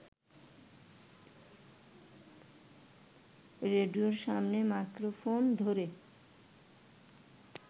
রেডিওর সামনে মাইক্রোফোন ধরে